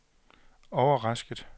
overrasket